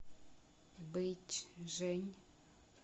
бэйчжэнь